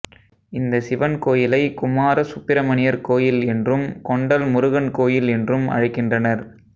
இந்த சிவன் கோயிலை குமார சுப்பிரமணியர் கோயில் என்றும் கொண்டல் முருகன் கோயில் என்றும் அழைக்கின்றனர்